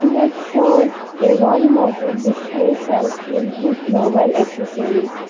image shows a wall mounted display shelf filled with mobile accessories.